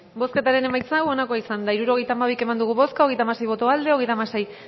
bozketaren emaitza onako izan da hirurogeita hamabi eman dugu bozka hogeita hamasei boto aldekoa treinta y seis